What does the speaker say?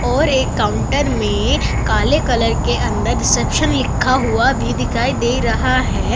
और एक काउंटर मे काले कलर के अंदर रिसेप्शन लिखा हुआ भी दिखाई दे रहा है।